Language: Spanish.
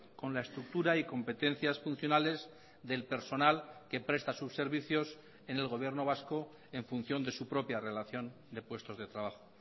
con la estructura y competencias funcionales del personal que presta sus servicios en el gobierno vasco en función de su propia relación de puestos de trabajo